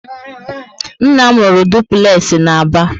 Nna m rụrụ dupulexi na Aba